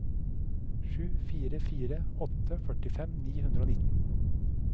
sju fire fire åtte førtifem ni hundre og nitten